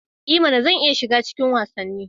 E mana! Zan iya shiga cikin wasanni.